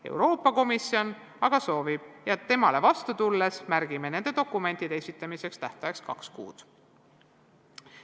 Euroopa Komisjon aga soovib ja temale vastu tulles märgime nende dokumentide esitamise tähtajaks kaks kuud.